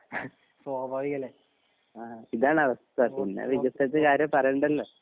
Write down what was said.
സ്വാഭാവിക്കല്ലേ ആ വോ വോ വോ